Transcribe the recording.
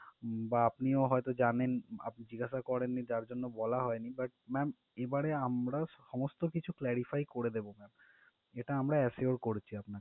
বা আপনিও হয়তো জানেন আপ~ জিজ্ঞাসা করেননি যার জন্য বলা হয়নি but ma'am এবারে আমরা সমস্ত কিছু clarify করে দেবো ma'am এটা আমরা assure করছি আপনার